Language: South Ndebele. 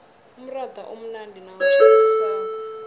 umratha umnandi nawutjhisako